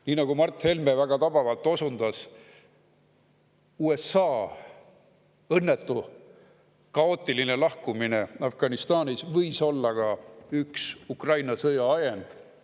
Nii, nagu Mart Helme väga tabavalt osundas: USA õnnetu ja kaootiline lahkumine Afganistanist võis olla ka üks Ukraina sõja ajend.